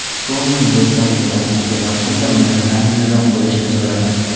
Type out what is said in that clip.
Tonini do‘stlarimga tanishtirgan vaqtimda undan samimiyroq bo‘lishini so‘radim.